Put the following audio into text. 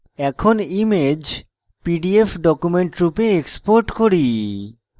এরপর image pdf document রূপে export করি